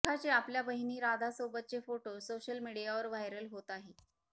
रेखाचे आपल्या बहिण राधासोबतचे फोटो सोशल मीडियावर व्हायरल होत आहे